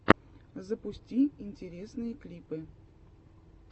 запусти интересные клипы